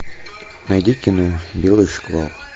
найди кино белый шквал